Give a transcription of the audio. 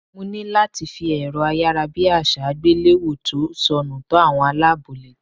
Mo ní láti fi èrọ ayárabíàṣá àgbéléwò tó sọnù tó àwọn aláàbọ̀ létí.